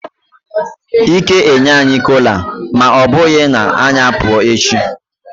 Ike enye anyi kola ma obughi na anyi apu echi.